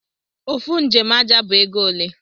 Ofụ njem aja bu ego ole?